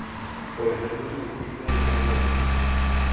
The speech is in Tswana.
ona mo maitekong a rona